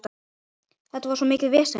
Þetta var svo mikið vesen.